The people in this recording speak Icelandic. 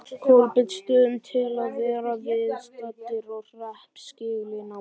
Kolbeinsstöðum til að verða viðstaddir hreppskilin á morgun.